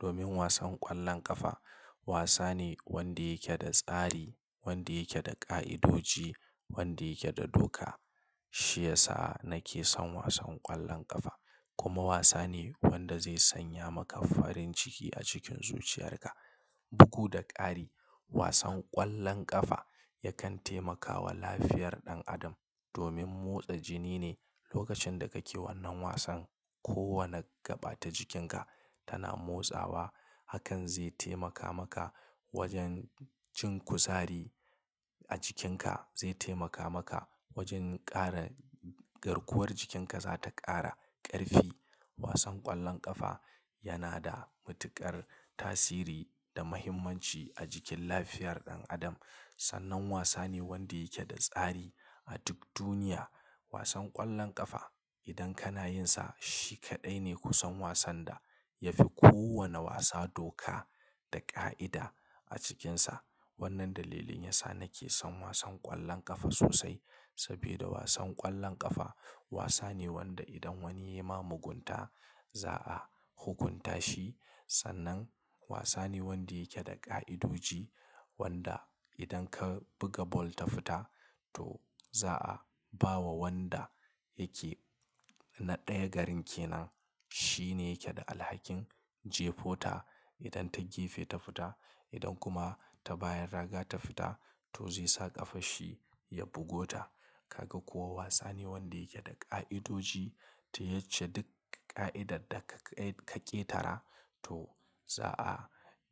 domin wasan ƙwallon ƙafa wasa ne wanda yake da tsari, wanda yake da ƙa'idoji, wanda yake da doka. Shi yasa nake son wasan ƙwallon ƙafa kuma wasa ne wanda zai sanya maka farin ciki a cikin zuciyarka. Bugu da ƙari wasan ƙwallon ƙafa yakan taimakawa lafiyar ɗan adam domin motsa jini ne. Lokacin da kake wannan wasan, kowane gaɓata jikinka tana motsawa. Hakan zai taimaka maka wajen cin kusari a jikinka, zai taimaka maka wajen ƙara garkuwar jikinka za ta ƙara ƙarfi. Wasan ƙwallon ƙafa yana da matuƙar tasiri da muhimmanci a cikin lafiyar ɗan adam. Sannan wasa ne wanda yake da tsari a duk duniya. Wasan ƙwallon ƙafa idan kana yinsa shi kaɗai ne kusan wasan da ya fi kowane wasa doka da ƙa'ida a cikinsa. Wannan dalilin yasa nake son wasan ƙwallon ƙafa sosai saboda wasan ƙwallon ƙafa wasa ne wanda idan wani ya ma mugunta za a hukunta shi. Sannan wasa ne wanda yake da ƙa'idoji wanda idan ka buga ball ta fita to za a ba wa wanda yake na ɗaya garin ke nan. Shi ne yake da alhakin jefa ta idan ta gefe ta fita. Idan kuma ta bayan raga ta fita to zai sa ƙafa shi ya bugo ta. Kaga kuwa wasa ne wanda yake da ƙa'idoji. Ta yace duk ƙa'idar da ka ƙetara to za a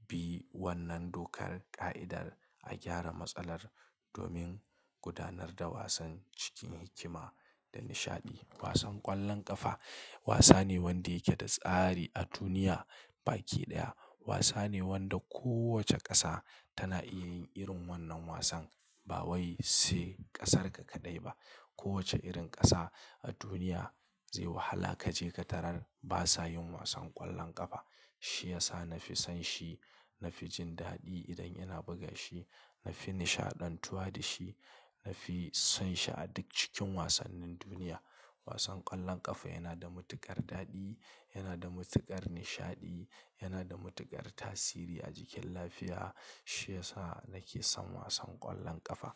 bi wannan dokar ƙa'idar a gyara matsalar domin gudanar da wasan cikin hikima da nishaɗi. Wasan ƙwallon ƙafa wasa ne wanda yake da tsari a duniya. Baki ɗaya wasa ne wanda kowace ƙasa tana iya yin irin wannan wasan. Ba wai sai ƙasarka kaɗai ba. Kowace irin ƙasa a duniya zai wahala ka je ka tarar ba sa yin wasan ƙwallon ƙafa. Shi ya sa na fi son shi, na fi jin daɗi idan yana buga shi, na fi nishaɗantuwa da shi, na fi son shi a duk cikin wasannin duniya. Wasan ƙwallon ƙafa yana da matuƙar daɗi, yana da matuƙar nishaɗi, yana da matuƙar tasiri a jikin lafiya. Shi ya sa nake son wasan ƙwallon ƙafa.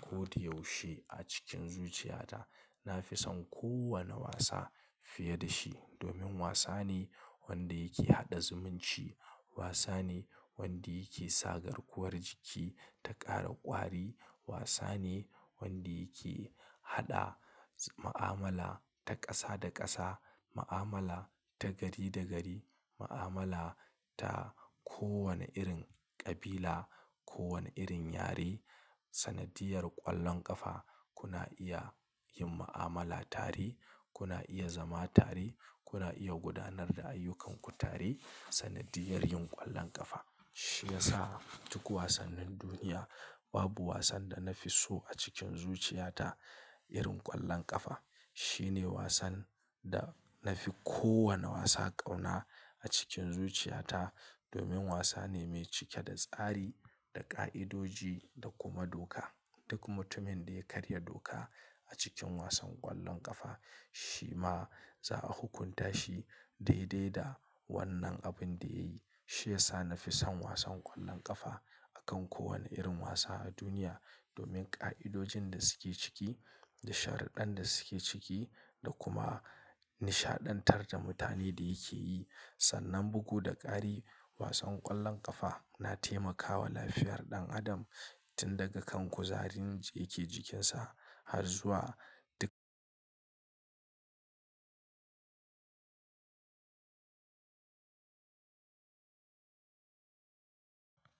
Ko da yaushe a cikin zuciyata na fi son kowane wasa fiye da shi domin wasa ne wanda yake haɗa zumunci, wasa ne wanda yake sa garkuwar jiki ta ƙara ƙwari, wasa ne wanda yake haɗa ma'amala ta ƙasa da ƙasa, ma'amala ta gari da gari, ma'amala ta kowane irin ƙabila, kowane irin yare. Sanadiyar ƙwallon ƙafa kuna iya yin ma'amala tare, kuna iya zama tare, kuna iya gudanar da ayyukanku tare sanadiyar yin ƙwallon ƙafa. Shi ya sa duk wasannin duniya babu wasan da na fi so a cikin zuciyata irin ƙwallon ƙafa. Shi ne wasan da na fi kowane wasa ƙauna a cikin zuciyata domin wasa ne mai cike da tsari, da ƙa'idoji da kuma doka. Duk mutumin da ya karya doka a cikin wasan ƙwallon ƙafa shi ma za a hukunta shi daidai da wannan abin da yayi. Shi ya sa na fi son wasan ƙwallon ƙafa a kan kowane irin wasa a duniya domin ƙa'idojin da suke ciki, da sharuɗɗan da suke ciki, da kuma nishaɗantar da mutane da yake yi. Sannan bugu da ƙari wasan ƙwallon ƙafa na taimakawa lafiyar ɗan adam tun daga kan kuzarin yake jikinsa har zuwa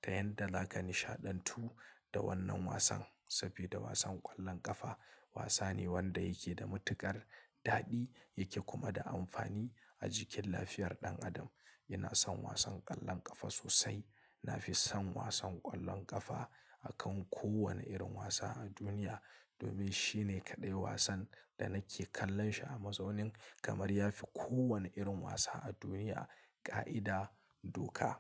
ta yadda zaks nishaɗantu da wannan wasan saboda wasan ƙwallon ƙafa wasa ne wanda yake da matuƙar daɗi, yake kuma da amfani a jikin lafiyar ɗan adam. Ina son wasan ƙwallon ƙafa sosai. Na fi son wasan ƙwallon ƙafa a kan kowane irin wasa a duniya domin shi ne kaɗai wasan da nake kallon shi a mazaunin kamar ya fi kowane irin wasa a duniya ƙa'ida doka.